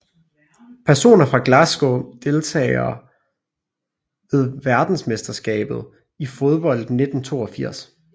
Personer fra Glasgow Deltagere ved verdensmesterskabet i fodbold 1982